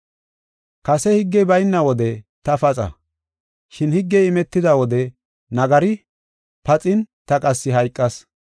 Kase higgey bayna wode ta paxa, shin higgey imetida wode nagari paxin ta qassi hayqas.